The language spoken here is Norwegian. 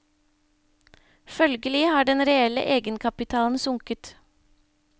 Følgelig har den reelle egenkapitalen sunket.